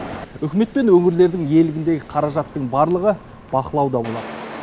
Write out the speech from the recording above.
үкімет пен өңірлердің иелігіндегі қаражаттың барлығы бақылауда болады